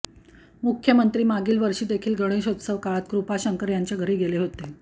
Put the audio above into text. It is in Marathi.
मुख्यमंत्री मागील वर्षीदेखील गणेशोत्सव काळात कृपाशंकर यांच्या घरी गेले होते